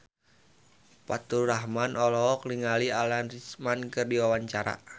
Faturrahman olohok ningali Alan Rickman keur diwawancara